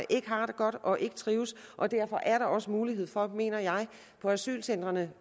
ikke har det godt og ikke trives og derfor er der også mulighed for mener jeg på asylcentrene